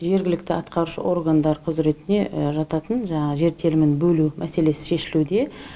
жергілікті атқарушы органдар құзіретіне жататын жаңағы жер телімін бөлу мәселесі шешілуде